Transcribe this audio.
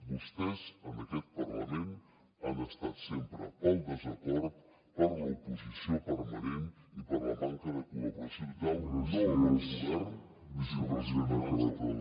vostès en aquest parlament han estat sempre pel desacord per l’oposició permanent i per la manca de col·laboració total no del govern sinó dels ciutadans del país